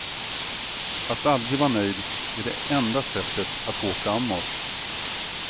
Att aldrig vara nöjd är det enda sättet att gå framåt.